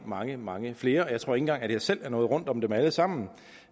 mange mange flere og jeg tror ikke engang at jeg selv er nået rundt om dem alle sammen